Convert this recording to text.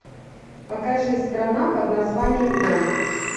покажи страна под названием дом